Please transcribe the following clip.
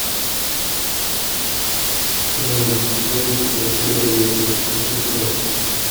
ксенон девушка двадцать первого века запускай